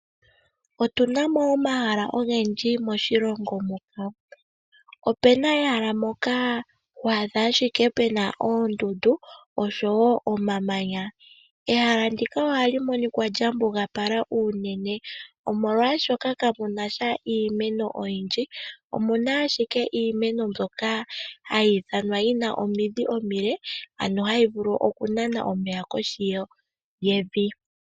Otuna mo omahala ogendji moshilongo muka. Opena ehala moka ho adha ashike ouna oondundu oshowo omamanya . Ehala ndika ohali monikwa lya mbugapala unene omolwashoka kamuna sha iimeno oyindji omuna ashike iimeno mbyoka hayi ithanwa yina omidhi omile ano hayi vulu oku nana momeya koshi yevi.